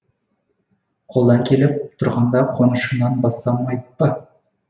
қолдан келіп тұрғанда қонышымнан бассам айып па